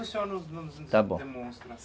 Está bom.